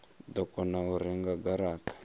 do kona u renga garata